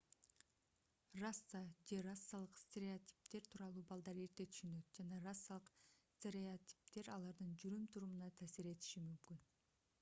раса же расалык стереотиптер тууралуу балдар эрте түшүнөт жана расалык стереотиптер алардын жүрүм-турумуна таасир этиши мүмкүн